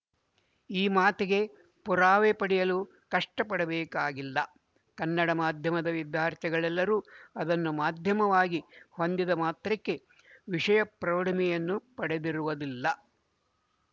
ಈ ಮಾತಿಗೆ ಪುರಾವೆ ಪಡೆಯಲು ಕಷ್ಟಪಡಬೇಕಾಗಿಲ್ಲ ಕನ್ನಡ ಮಾಧ್ಯಮದ ವಿದ್ಯಾರ್ಥಿಗಳೆಲ್ಲರೂ ಅದನ್ನು ಮಾಧ್ಯಮವಾಗಿ ಹೊಂದಿದ ಮಾತ್ರಕ್ಕೆ ವಿಶಯ ಪ್ರೌಢಿಮೆಯನ್ನು ಪಡೆದಿರುವುದಿಲ್ಲ